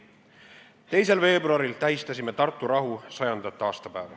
2. veebruaril tähistasime Tartu rahu 100. aastapäeva.